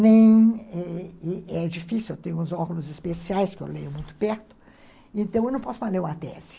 Nem é é difícil, eu tenho uns óculos especiais que eu leio muito perto, então eu não posso mais ler uma tese.